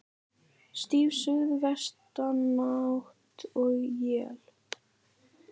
Stíf suðvestanátt og él